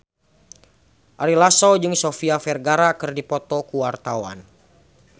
Ari Lasso jeung Sofia Vergara keur dipoto ku wartawan